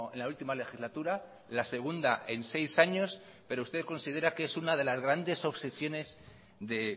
la última legislatura la segunda en seis años pero usted considera que es una de las grandes obsesiones de